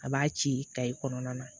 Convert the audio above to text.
A b'a ci kayi kɔnɔna na